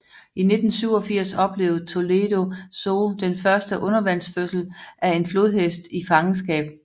I 1987 oplevede Toledo Zoo den første undervandsfødsel af en flodhest i fangenskab